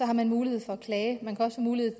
har man mulighed for at klage man har også mulighed